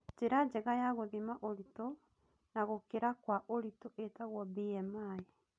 Njĩra njega ya gũthima ũritũ na gũkĩra kwa ũritũ ĩtagwo BMI